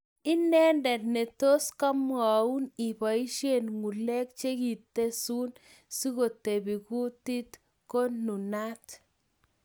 Inendet ne tos komwaun ipoishe ngulek chekitesun sikotepi kutit ko nunat